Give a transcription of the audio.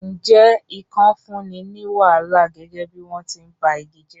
Ǹjẹ́ ikàn fúnni ní wàhálà gẹ́gẹ́ bí wọ́n ti ń ba igi jẹ́?